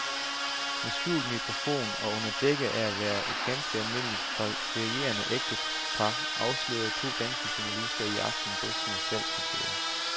Med skjult mikrofon og under dække af at være et ganske almindeligt ferierende ægtepar afslører to danske journalister i aften rystende salgsmetoder.